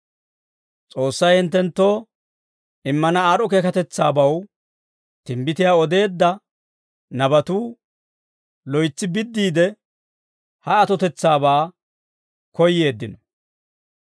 S'oossay hinttenttoo immana aad'd'o keekatetsaabaw timbbitiyaa odeedda nabatuu loytsi biddiide, ha atotetsaabaa koyyeeddino.